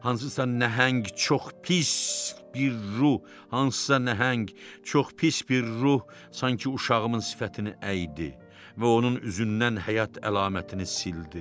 Hansısa nəhəng çox pis bir ruh, hansısa nəhəng çox pis bir ruh sanki uşağımın sifətini əydi və onun üzündən həyat əlamətini sildi.